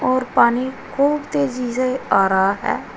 और पानी खूब तेजी से आ रहा है।